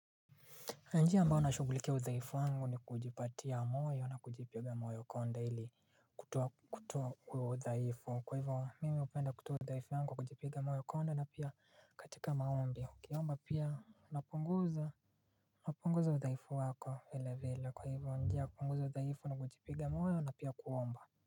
Njia ambayo nashughulikia udhaifu wangu ni kujipatia moyo na kujipiga moyo konde ili kutoa, kutoa udhaifu kwa hivyo mimi hupenda kutoa udhaifu yangu kujipiga moyo konde na pia katika maombi. Ukiomba pia unapunguza napunguza udhaifu wako vile vile kwa hivyo njia kupunguza udhaifu ni kujipiga moyo na pia kuomba.